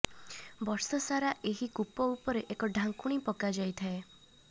ବର୍ଷସାରା ଏହି କୂପ ଉପରେ ଏକ ଢାଙ୍କୁଣି ପକା ଯାଇଥାଏ